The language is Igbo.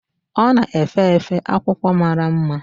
Ọ na-efe efe akwụkwọ mara mma.